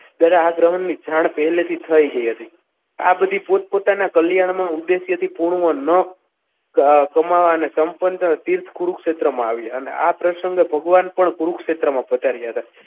ત્યારે આ ગ્રહણની જાણ પહેલેથી જ થઈ ગઈ હતી આ બધી પોતપોતાના કલ્યાણમાં ઉદ્દેશ્યથી પૂર્ણ ન કમાવા અને સંપન્ન તીર્થ કુરુક્ષેત્રમાં આવ્યા આ પ્રસંગે ભગવાન પણ કુરુક્ષેત્રમાં પધાર્યા હતા.